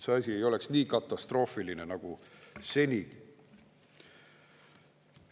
See asi ei oleks nii katastroofiline nagu seni.